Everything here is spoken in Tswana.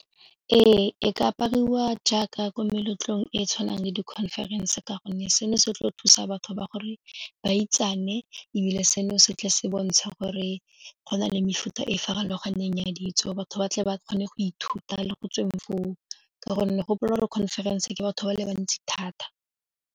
Ee, e ka apariwa jaaka ko meletlong e e tshwanang le di-conference ka gonne seno se tlo thusa batho ba gore ba itsane ebile seno se tle se bontsha gore go na le mefuta e farologaneng ya ditso, batho ba tle ba kgone go ithuta le go tsweng foo ka gonne gopola gore conference ke batho ba le bantsi thata.